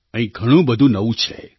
અહીં ઘણું બધું નવું છે